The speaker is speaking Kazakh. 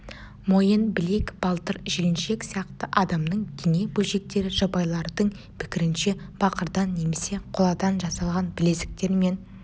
мойын білек балтыр жіліншік сияқты адамның дене бөлшектері жабайылардың пікірінше бақырдан немесе қоладан жасалған білезіктер мен